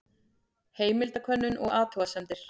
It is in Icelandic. Heimildakönnun og athugasemdir.